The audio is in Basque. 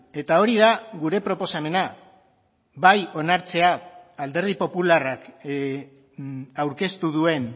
eta hori da gure proposamena bai onartzea alderdi popularrak aurkeztu duen